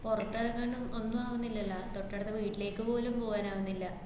പുറത്തെറങ്ങാനും ഒന്നും ആവന്നില്ലാല്ലാ. തൊട്ടടുത്ത വീട്ടിലേക്ക് പോലും പോകാനാവുന്നില്ല.